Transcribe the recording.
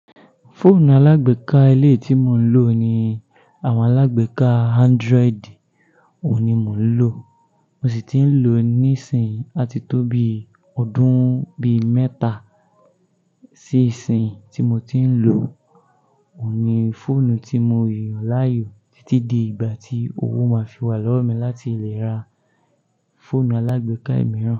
Fóònù alágbèéká eleyii tí mo ń lò ni àwọn alágbèéká Android, òní mo ń lò, mo sì ti ń lò ní ìsìn àti tó bí ọdún bí mẹ́ta. Sí ìsìnyii tí mo ti ń lò, òní fóònù tí mo yàn láàyò títí di ìgbà tí owó máa fi wà lọ́wọ́ mi láti lè ra fóònù alágbèéká imìíràn.